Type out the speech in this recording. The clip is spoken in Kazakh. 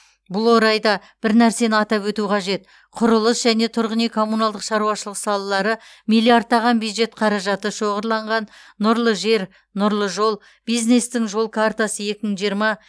бұл орайда бір нәрсені атап өту қажет құрылыс және тұрғын үй коммуналдық шаруашылық салалары миллиардтаған бюджет қаражаты шоғырланған нұрлы жер нұрлы жол бизнестің жол картасы екі мың жиырма